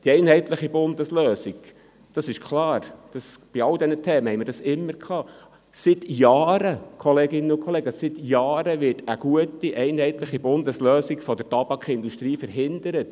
Die einheitliche Bundeslösung – das ist klar, das haben wir bei allen diesen Themen stets erlebt – wird seit Jahren, Kolleginnen und Kollegen, durch die Tabakindustrie verhindert.